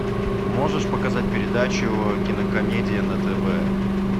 можешь показать передачу кинокомедия на тв